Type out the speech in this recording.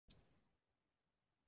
Nú falla vötn öll til Dýrafjarðar.